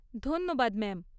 ধন্যবাদ, ম্যাম।